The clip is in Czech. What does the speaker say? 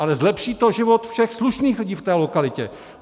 Ale zlepší to život všech slušných lidí v té lokalitě!